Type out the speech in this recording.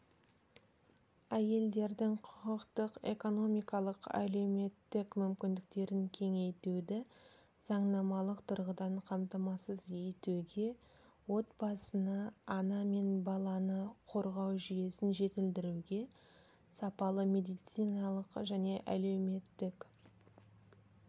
әйелдердің құқықтық экономикалық әлеуметтік мүмкіндіктерін кеңейтуді заңнамалық тұрғыдан қамтамасыз етуге отбасыны ана мен баланы қорғау жүйесін жетілдіруге сапалы медициналық және әлеуметтік